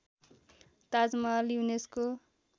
Taj Mahal UNESCO